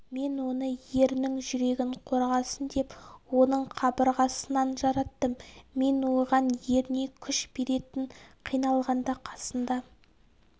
мен оны ерінің жүрегін қорғасын деп оның қабырғасынан жараттым мен оған еріне күш беретін қиналғанда қасында